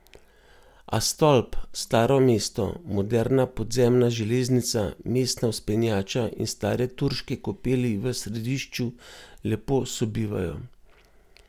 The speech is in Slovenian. A stolp, staro mesto, moderna podzemna železnica, mestna vzpenjača in stare turške kopeli v središču lepo sobivajo.